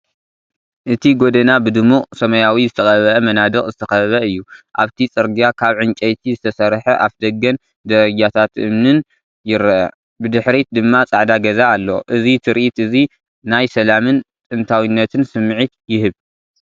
እቲ ጎደና ብድሙቕ ሰማያዊ ዝተቐብአ መናድቕ ዝተኸበበ እዩ። ኣብቲ ጽርግያ ካብ ዕንጨይቲ ዝተሰርሐ ኣፍደገን ደረጃታት እምንን ይርአ፣ ብድሕሪት ድማ ጻዕዳ ገዛ ኣሎ። እዚ ትርኢት እዚ ናይ ሰላምን ጥንታዊነትን ስምዒት ይህብ።